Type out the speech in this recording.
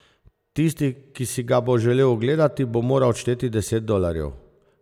Tisti, ki si ga bo želel ogledati, bo moral odšteti deset dolarjev.